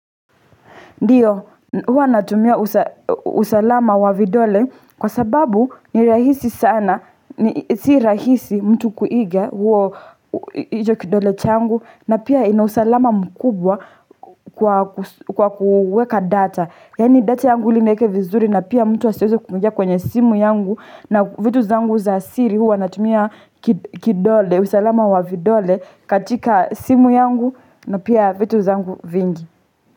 Ndiyo, huwa natumia usa usalama wa vidole kwa sababu ni rahisi sana, ni si rahisi mtu kuiga huo hicho kidole changu na pia ina usalama mkubwa kwa kuweka data. Yani data yangu ili nieke vizuri na pia mtu asiweze kuingia kwenye simu yangu na vitu zangu za siri huwa natumia ki kidole, usalama wa vidole katika simu yangu na pia vitu zangu vingi.